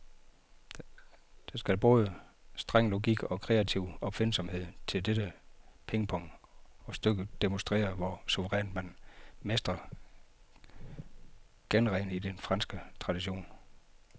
Der skal både streng logik og kreativ opfindsomhed til dette pingpong, og stykket demonstrerer, hvor suverænt man mestrer genren i den franske tradition.